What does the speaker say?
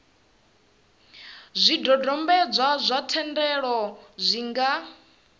zwidodombedzwa zwa thendelo zwi nga